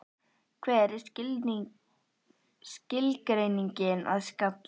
Hver er skilgreiningin að skalla?